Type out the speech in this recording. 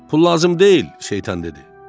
Pul lazım deyil, şeytan dedi.